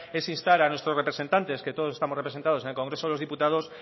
es instar a nuestros representantes que todos estamos representados en el congreso de los diputados